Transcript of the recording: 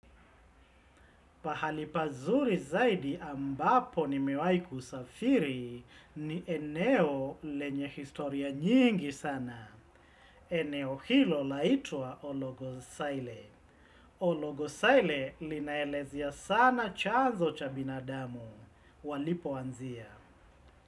Pahali pazuri zaidi, ambapo nimewahi kusafiri, ni eneo lenye historia nyingi sana. Eneo hilo laitwa Ologosaile. Ologosaile, linaelezea sana chanzo cha binadamu, walipoanzia.